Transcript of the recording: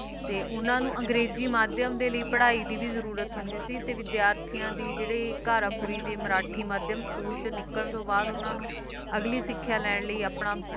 ਤੇ ਉਨ੍ਹਾਂ ਨੂੰ ਅੰਗਰੇਜ਼ੀ ਮਾਧਿਅਮ ਦੇ ਲਈ ਪੜ੍ਹਾਈ ਦੀ ਵੀ ਜਰੂਰਤ ਹੁੰਦੀ ਸੀ ਤੇ ਵਿਦਿਆਰਥੀਆਂ ਦੇ ਜਿਹੜੇ ਘਾਰਾਪੂਰੀ ਦੇ ਮਰਾਠੀ ਮਾਧਿਅਮ ਸਕੂਲ ਚੋਂ ਨਿੱਕਲਣ ਤੋਂ ਬਾਅਦ ਉਨ੍ਹਾਂ ਨੂੰ ਅਗਲੀ ਸਿੱਖਿਆ ਲੈਣ ਲਈ ਆਪਣਾ